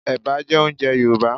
Ẹ̀bà jẹ́ oúnjẹ Yorùbá